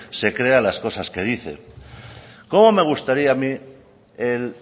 se crea las cosas que dice cómo me gustaría a mí el